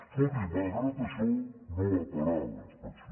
escolti malgrat això no va parar la inspecció